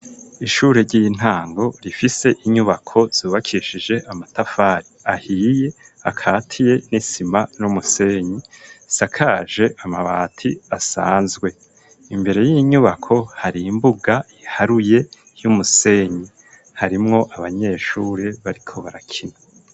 Ishure ry'intango rifise inyubako zubakishije amatafari ahiye , akatiye n'isima n'umusenyi , sakaje amabati asanzwe. Imbere y'inyubako hari imbuga iharuye y'umusenyi . Harimwo abanyeshuri bariko barakina.